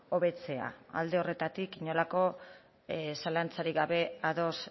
hobetzea alde horretatik inolako zalantzarik gabe ados